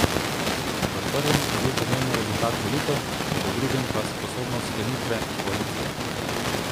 V prvem je bil pomemben rezultat volitev, v drugem pa sposobnost sklenitve koalicije.